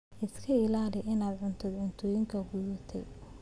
Iska ilaali inaad cuntid cuntooyinka qudhuntay.